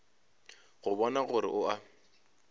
go bona gore o a